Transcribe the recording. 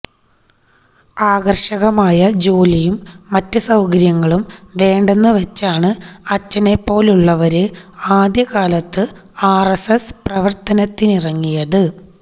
ആകര്ഷകമായ ജോലിയും മറ്റ് സൌകര്യങ്ങളും വേണ്ടെന്നുവച്ചാണ് അച്ഛനെപ്പോലുള്ളവര് ആദ്യ കാലത്ത് ആര്എസ്എസ് പ്രവര്ത്തനത്തിനിറങ്ങിയത്